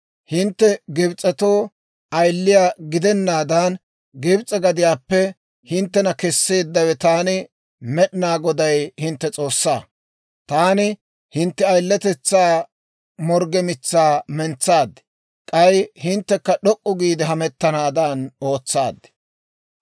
Hintte Gibs'etoo ayiliyaa gidennaadan, Gibs'e gadiyaappe hinttena kesseeddawe Taani Med'inaa Goday hintte S'oossaa. Taani hintte ayiletetsaa morgge mitsaa mentsaad; k'ay hinttekka d'ok'k'u giide hemettanaadan ootsaad.